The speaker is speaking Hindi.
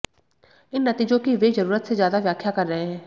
इन नतीजों की वे जरूरत से ज्यादा व्याख्या कर रहे हैं